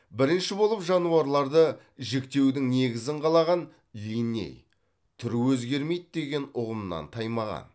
бірінші болып жануарларды жіктеудің негізін қалаған винней түр өзгермейді деген ұғымнан таймаған